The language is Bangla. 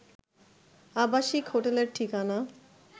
আবাসিক হোটেলের ঠিকানা